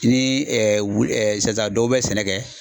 Ni wu dɔw bɛ sɛnɛ kɛ.